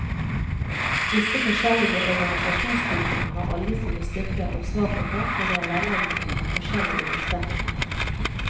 Disse forskjellige organisasjonstypene har alle sine styrker og svakheter og er velegnet under forskjellige omstendigheter.